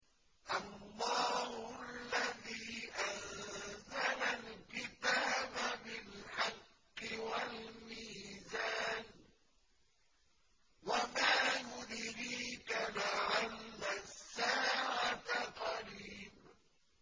اللَّهُ الَّذِي أَنزَلَ الْكِتَابَ بِالْحَقِّ وَالْمِيزَانَ ۗ وَمَا يُدْرِيكَ لَعَلَّ السَّاعَةَ قَرِيبٌ